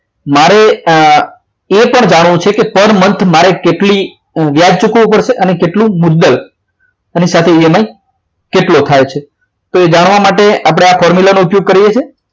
મારે એ પણ જાણવું છે કે per month મારે કેટલી વ્યાજ ચૂકવવું પડશે અને કેટલું મુદ્દલ એની સાથે EMI કેટલો થાય છે તો એ જાણવા માટે આપણે formula નો ઉપયોગ કરીએ છીએ